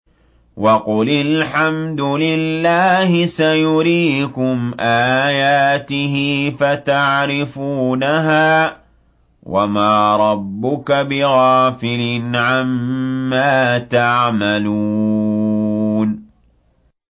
وَقُلِ الْحَمْدُ لِلَّهِ سَيُرِيكُمْ آيَاتِهِ فَتَعْرِفُونَهَا ۚ وَمَا رَبُّكَ بِغَافِلٍ عَمَّا تَعْمَلُونَ